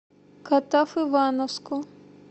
катав ивановску